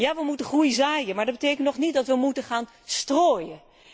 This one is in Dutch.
Ja, we moeten groei zaaien, maar dat betekent nog niet dat we moeten gaan stróóien.